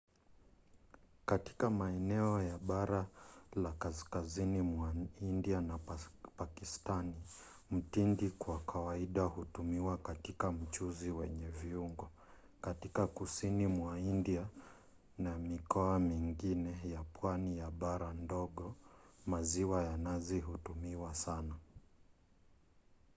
katika maeneo ya bara la kaskazini mwa india na pakistani mtindi kwa kawaida hutumiwa katika mchuzi wenye viungo; katika kusini mwa india na mikoa mingine ya pwani ya bara ndogo maziwa ya nazi hutumiwa sana